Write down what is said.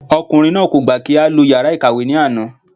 Ọkùnrin náà kò gbà kí á lo yàrá ìkàwé ní àná